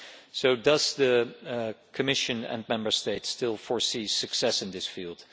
So, do the Commission and Member States still foresee success in this field?